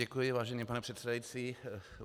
Děkuji, vážený pane předsedající.